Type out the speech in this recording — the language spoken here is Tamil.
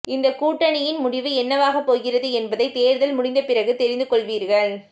இந்தக் கூட்டணியின் முடிவு என்னவாகப் போகிறது என்பதை தேர்தல் முடிந்தபிறகு தெரிந்து கொள்வீர்கள்